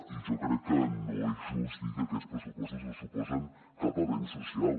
i jo crec que no és just dir que aquests pressupostos no suposen cap avenç social